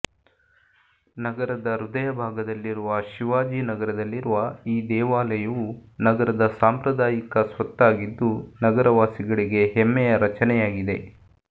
ನಗರದ ಹೃದಯ ಭಾಗದಲ್ಲಿರುವ ಶಿವಾಜಿ ನಗರದಲ್ಲಿರುವ ಈ ದೇವಾಲಯವು ನಗರದ ಸಾಂಪ್ರದಾಯಿಕ ಸ್ವತ್ತಾಗಿದ್ದು ನಗರವಾಸಿಗಳಿಗೆ ಹೆಮ್ಮೆಯ ರಚನೆಯಾಗಿದೆ